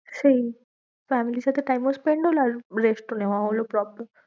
সেই family র সাথে time ও spend হলো আর rest ও নেওয়া হলো proper.